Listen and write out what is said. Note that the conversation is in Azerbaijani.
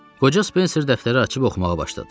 Qoca Spenser dəftəri açıb oxumağa başladı.